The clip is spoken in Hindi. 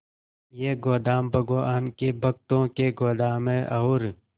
ये गोदाम भगवान के भक्तों के गोदाम है और